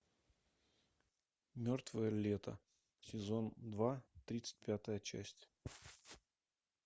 мертвое лето сезон два тридцать пятая часть